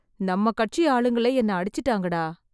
நம்ம கட்சி ஆளுங்களே என்ன அடிச்சிட்டாங்கடா...